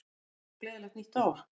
Já, og gleðilegt nýtt ár!